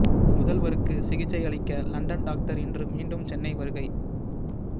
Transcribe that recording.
முதல்வருக்கு சிகிச்சை அளிக்க லண்டன் டாக்டர் இன்று மீண்டும் சென்னை வருகை